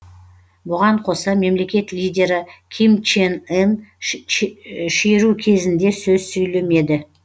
бұған қоса мемлекет лидері ким чен ын шеру кезінде сөз сөйлемеді